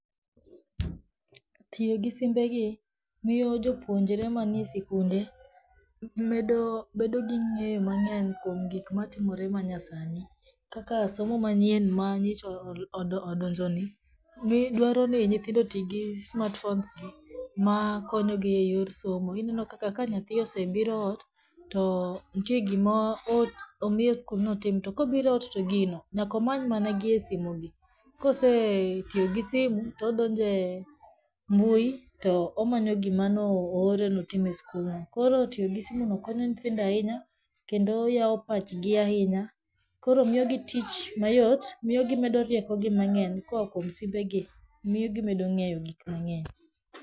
Tiyo gi simbegi, miyo jopuonjre manie sikunde medo bedo gi ng'eyo mang'eny kwom gikmatimore manyasani, kaka somo manyien manyocha odonjoni, mi dwaroni nyithindo otii gi smartphonesgi makonyogi e yor somo, inenokaka ka nyathii osebiro ot, to nitie gima omiye e skul ni otim to kobiro ot to gino nyaka omany mana gie simu gi, kosetiyo gi simu, todonje mbui to, omanyo gimanoore notim e skulno, koro tiyo gi simuno konyo nyithindo ahinya, kendo yawo pachgi ahinya, koro miyogi tich mayot, miyo gimedo riekogi mang'eny koa kwom simbegi miyo ging'eyo gikamng'eny.